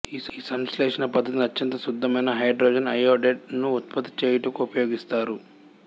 ఈ సంశ్లేషణ పద్ధతిని అత్యంత శుద్ధమైన హైడ్రోజన్ అయోడైడ్ ను ఉత్పత్తి చేయుటకు ఉపయోగిస్తారు